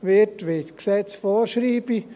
wird, wie es die Gesetze vorschreiben.